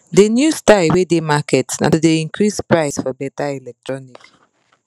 de new style wey dey market na to dey increase price for better electronic